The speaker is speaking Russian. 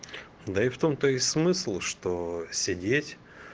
да и в том то и смысл что сидеть